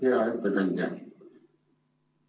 Hea ettekandja!